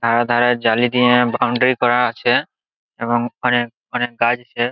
ধারে ধারে জালি দিয়ে বাউন্ডারি করা আছে এবং অনেক অনেক গাছ আছে।